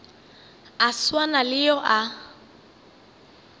a swana le yo a